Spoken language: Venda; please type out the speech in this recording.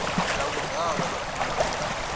nga vhuḓalo ha kona u